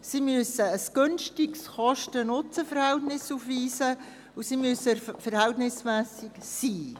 Sie müssen ein günstiges Kosten-Nutzen-Verhältnis aufweisen, und sie müssen verhältnismässig sein.